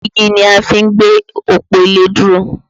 Igi ni a fi ń gbé òpó ilé dúró